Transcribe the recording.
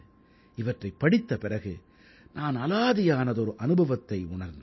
இவற்றைப் படித்த பிறகு நான் அலாதியானதொரு அனுபவத்தை உணர்ந்தேன்